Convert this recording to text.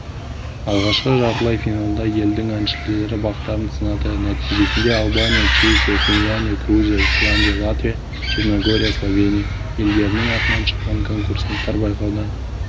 алғашқы жартылай финалда елдің әншілері бақтарын сынады нәтижесінде албания чехия финляндия грузия исландия латвия черногория словения елдерінің атынан шыққан конкурсанттар байқаудан